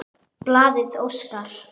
Blaðið óskar